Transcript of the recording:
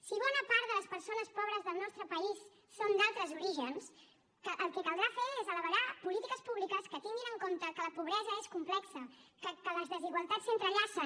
si bona part de les persones pobres del nostre país són d’altres orígens el que caldrà fer és elaborar polítiques públiques que tinguin en compte que la pobresa és complexa que les desigualtats s’entrellacen